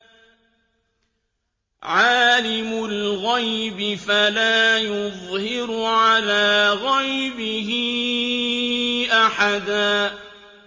عَالِمُ الْغَيْبِ فَلَا يُظْهِرُ عَلَىٰ غَيْبِهِ أَحَدًا